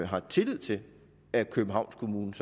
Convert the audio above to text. har tillid til at københavns kommune